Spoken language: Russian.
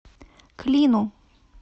клину